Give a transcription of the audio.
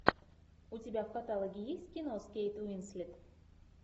у тебя в каталоге есть кино с кейт уинслет